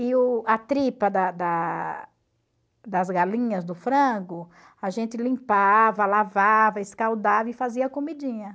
E o a tripa da da das galinhas, do frango, a gente limpava, lavava, escaldava e fazia comidinha.